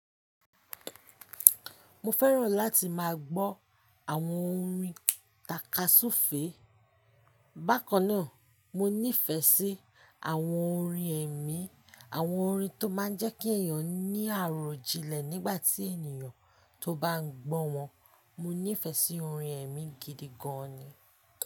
Mo fẹ́ràn láti máa gbọ́ àwọn orin takasufe. Bákan náà, mo nífẹ̀ẹ́ sí àwọn orin ẹ̀mí, àwọn orin tó máa ń jẹ́ kí èèyàn ní àròjinlẹ̀ nígbà tí èniyàn tó bá ń gbọ́ wọn. Mo nífẹ̀ẹ́ sí orin ẹ̀mí gidi gan-an ni.